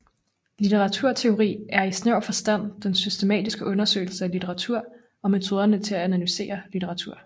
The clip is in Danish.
Litteraturteori er i snæver forstand den systematiske undersøgelse af litteratur og metoderne til at analysere litteratur